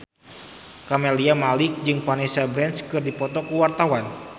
Camelia Malik jeung Vanessa Branch keur dipoto ku wartawan